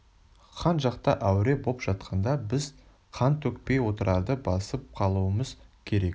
хан жақта әуре боп жатқанда біз қан төкпей отырарды басып қалуымыз керек